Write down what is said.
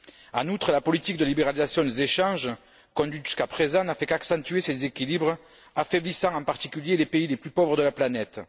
En outre, la politique de libéralisation des échanges conduite jusqu'à présent n'a fait qu'accentuer ces déséquilibres, affaiblissant en particulier les pays les plus pauvres de la planète.